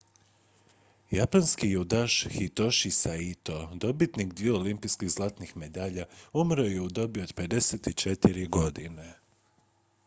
japanski judaš hitoshi saito dobitnik dviju olimpijskih zlatnih medalja umro je u dobi od 54 godine